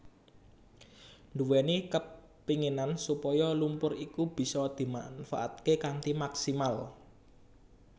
nduwèni kapenginan supaya lumpur iku bisa dimanfaataké kanthi maksimal